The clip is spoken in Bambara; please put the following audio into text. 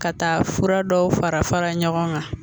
Ka taa fura dɔw fara fara ɲɔgɔn kan